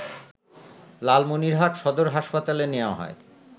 লালমনিরহাট সদর হাসপাতালে নেয়া হয়